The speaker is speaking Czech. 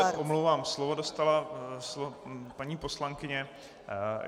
Já se omlouvám, slovo dostala paní poslankyně.